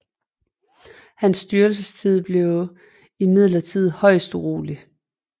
Hans styrelsetid blev imidlertid højst urolig